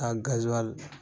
A